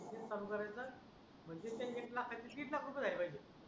काम चालू करायचा एक लाखाचे दीड लाख रुपये झाले पाहिजे